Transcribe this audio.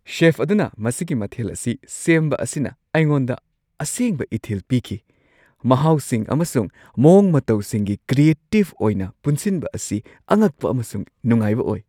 Safe ꯑꯗꯨꯅ ꯃꯁꯤꯒꯤ ꯃꯊꯦꯜ ꯑꯁꯤ ꯁꯦꯝꯕ ꯑꯁꯤꯅ ꯑꯩꯉꯣꯟꯗ ꯑꯁꯦꯡꯕ ꯏꯊꯤꯜ ꯄꯤꯈꯤ; ꯃꯍꯥꯎꯁꯤꯡ ꯑꯃꯁꯨꯡ ꯃꯑꯣꯡ-ꯃꯇꯧꯁꯤꯡꯒꯤ ꯀ꯭ꯔꯤꯑꯦꯇꯤꯚ ꯑꯣꯏꯅ ꯄꯨꯟꯁꯤꯟꯕ ꯑꯁꯤ ꯑꯉꯛꯄ ꯑꯃꯁꯨꯡ ꯅꯨꯡꯉꯥꯏꯕ ꯑꯣꯏ꯫